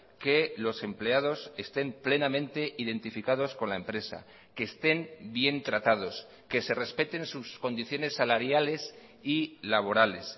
que los empleados estén plenamente identificados con la empresa que estén bien tratados que se respeten sus condiciones salariales y laborales